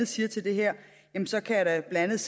siger til det her så kan jeg da blandt